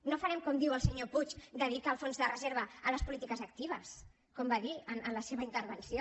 no farem com diu el senyor puig de dir que el fons de reserva a les polítiques actives com va dir en la seva intervenció